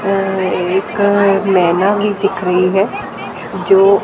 और एक मैना भी दिख रही हैं जो--